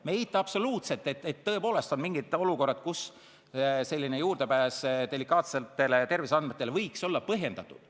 Me ei eita absoluutselt, et tõepoolest on mingid olukorrad, kus selline juurdepääs delikaatsetele terviseandmetele võiks olla põhjendatud.